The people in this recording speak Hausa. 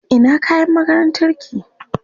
Ina kayan makarantarki?